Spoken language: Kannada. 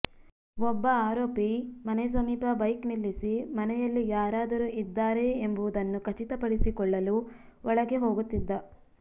ಒಬ್ಬ ಆರೋಪಿ ಮನೆ ಸಮೀಪ ಬೈಕ್ ನಿಲ್ಲಿಸಿ ಮನೆಯಲ್ಲಿ ಯಾರಾದರೂ ಇದ್ದಾರೆಯೇ ಎಂಬುದನ್ನು ಖಚಿತಪಡಿಸಿಕೊಳ್ಳಲು ಒಳಗೆ ಹೋಗುತ್ತಿದ್ದ